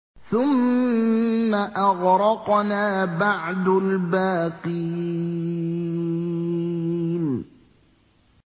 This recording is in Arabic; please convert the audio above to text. ثُمَّ أَغْرَقْنَا بَعْدُ الْبَاقِينَ